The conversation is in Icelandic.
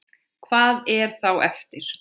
Hvað er þá eftir?